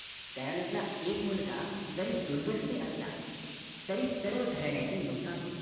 घराण्यातील एक मुलगा जरी दुर्व्यसनी असला तरी सर्व घराण्याचे नुकसान होते